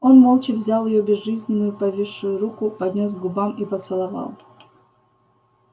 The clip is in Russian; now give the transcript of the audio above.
он молча взял её безжизненно повисшую руку поднёс к губам и поцеловал